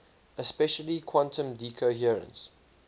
especially quantum decoherence